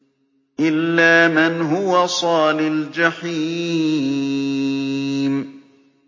إِلَّا مَنْ هُوَ صَالِ الْجَحِيمِ